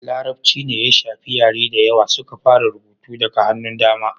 larabci ne ya shafi yare da yawa suka fara rubutu daga hannun dama